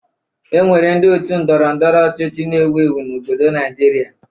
E nwere ndị otu Ndọrọ ndọrọ ọchịchị na-ewu ewu n'obodo Naịjirịa